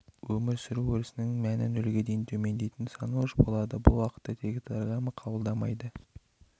өмір сүру өрісінің мәні нөлге дейін төмендейтін санауыш болады бұл уақытта дейтаграмма қабылдалмайды